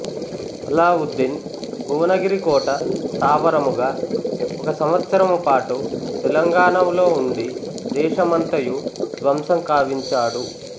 అలావుద్దీన్ భువనగిరి కోట స్థావరముగా ఒక సంవత్సరము పాటు తెలంగాణములో ఉండి దేశమంతయూ ధ్వంసం కావించాడు